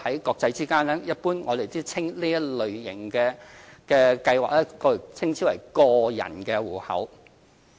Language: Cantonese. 國際間，我們一般稱這類型的計劃為個人戶口。